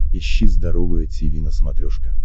ищи здоровое тиви на смотрешке